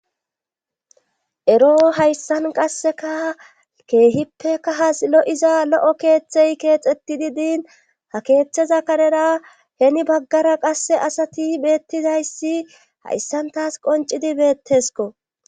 Ero hayssan qasseka keehippeka ha silo7iza lo7o keeththey keexetti di diin ha keeththeza kanera heni baggara qasse asati beettidayssi haissantas qoncidi beettesko.